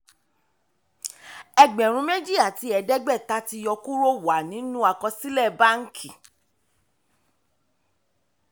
ẹgbẹ̀rún méjì àti ẹ̀ẹ́dẹ́gbẹ̀ta tí yọ kúrò wà nínú àkọsílẹ̀ bánkì.